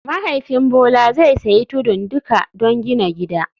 Mahaifin Bola zai sayi tudun duka don gina gida